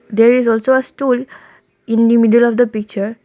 there is also a stool in the middle of the picture.